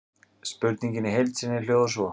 Spurningin í heild sinni hljóðar svo: